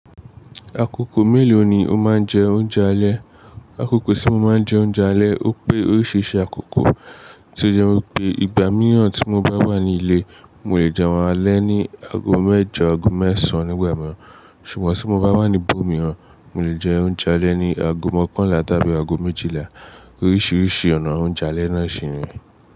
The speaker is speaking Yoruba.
Akoko mélòó ni o máa ń jẹ oúnjẹ alẹ́? Akoko tí mo máa ń jẹ oúnjẹ alẹ́, ó pé oríṣiríṣi àkókò tí ó jẹ́ wípé ìgbà mìíràn tí mo bá wà ní ilé, mò lè jẹ́ oun alẹ́ ní ago mẹ́jọ, ago mẹ́sàn-án nígbà mìíràn. Ṣùgbọ́n tí mo bá wà ní ibòmíràn, mò lè jẹ oúnjẹ alẹ́ ní ago mọ́kànlá tàbí ago méjìlá. Oríṣiríṣi ọ̀nà oúnjẹ alẹ́ náà ṣì ni.